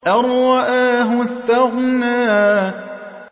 أَن رَّآهُ اسْتَغْنَىٰ